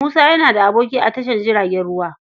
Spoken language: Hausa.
Musa yana da aboki a tashar jiragen ruwa.